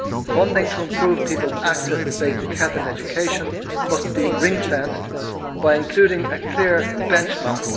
Funding to improve people's access to basic health and education must be ring fenced by including a clear benchmark.